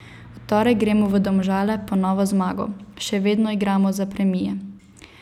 V torek gremo v Domžale po novo zmago, še vedno igramo za premije.